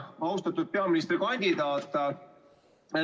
Austatud peaministrikandidaat!